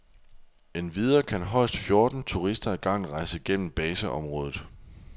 Endvidere kan højst fjorten turister ad gangen rejse gennem baseområdet.